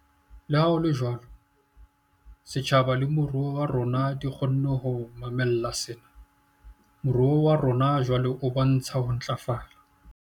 Leha ho le jwalo, setjhaba le moruo wa rona di kgonne ho mamella sena. Moruo wa rona jwale o bontsha ho ntlafala.